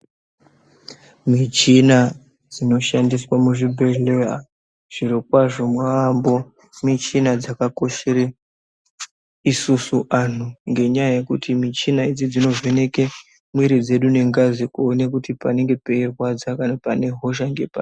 Michina dzino shandiswa mu zvibhedhleya zviro kwazvo yambo michina dzaka koshere isusu anhu ngenya yekuti michina idzi dzino vheneke mwiri dzedu ne ngazi kuone kuti panenge peyi rwadza kana pane hosha ngepari.